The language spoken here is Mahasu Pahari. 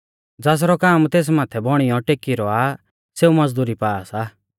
ज़ासरौ काम तेस माथै बौणीयौ टेकी रौआ सेऊ मज़दुरी पा सा